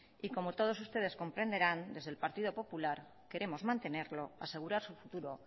y como todos ustedes comprenderán desde el partido popular queremos mantenerlo asegurar su futuro